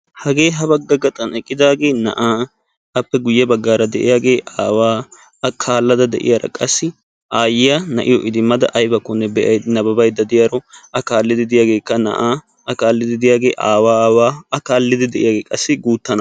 Hagee ha bagga gaxxan eqqidaagee, na'aa, Appe guye baggaara de'iyaagee aawaa, a kaalldda de'iyara, qassi aayiya na"iyo idimada aybbakkonne nabbabbayda diyaro a kaallidi de'iyagekka na'a, a kaalidi de'iyagee aawa aawa a kaallidi de'iyagee qassi guuttay na'a.